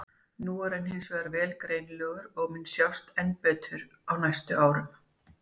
Núna er hann hins vegar vel greinilegur og mun sjást enn betur á næstu árum.